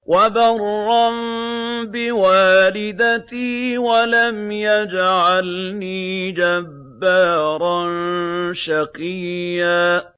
وَبَرًّا بِوَالِدَتِي وَلَمْ يَجْعَلْنِي جَبَّارًا شَقِيًّا